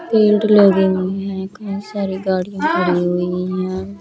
Belt लगे हुए है कही सारी गाड़ियां खड़ी हुई है।